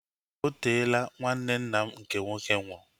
Oteela nwanne nna m nke nwoke nwụrụ